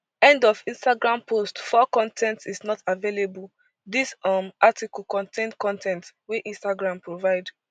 end of instagram post four con ten t is not available dis um article contain con ten t wey instagram provide